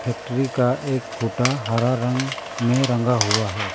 Factory का एक खुटा हरा रंग में रंगा हुआ है।